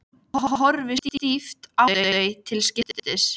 Ég horfi stíft á þau til skiptis.